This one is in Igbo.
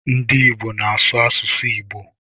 Ndị Ìgbo na-asụ asụsụ Igbo.